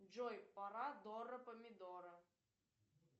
джой пора дора помидора